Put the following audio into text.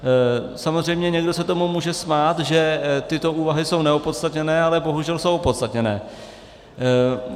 Samozřejmě někdo se tomu může smát, že tyto úvahy jsou neopodstatněné, ale bohužel jsou opodstatněné.